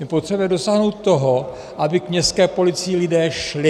My potřebujeme dosáhnout toho, aby k městské policii lidé šli.